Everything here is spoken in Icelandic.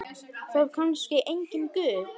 Var kannski enginn Guð?